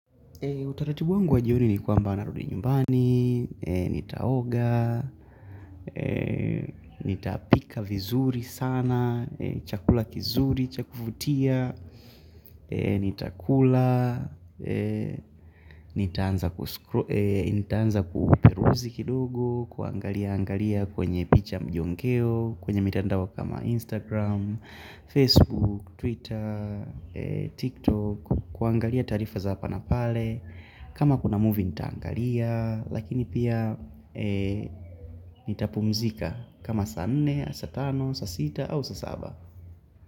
Utaratibu wangu wa jioni ni kwamba narudi nyumbani, nitaoga, nitapika vizuri sana, chakula kizuri, chakuvutia, nitakula, nitaanza kuperuzi kidogo, kuangalia angalia kwenye picha mjongeo, kwenye mitandao kama Instagram, Facebook, Twitter, TikTok, kuangalia taarifa za hapa na pale, kama kuna movie nitaangalia lakini pia nitapumzika kama saa nne, saa tano, saa sita, au saa saba.